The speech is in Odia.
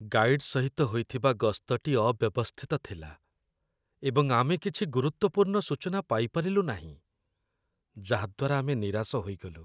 ଗାଇଡ୍ ସହିତ ହୋଇଥିବା ଗସ୍ତଟି ଅବ୍ୟବସ୍ଥିତ ଥିଲା, ଏବଂ ଆମେ କିଛି ଗୁରୁତ୍ୱପୂର୍ଣ୍ଣ ସୂଚନା ପାଇପାରିଲୁ ନାହିଁ, ଯାହାଦ୍ଵାରା ଆମେ ନିରାଶ ହୋଇଗଲୁ